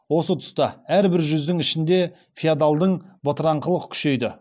осы тұста әрбір жүздің ішінде феодалдың бытыраңқылық күшейді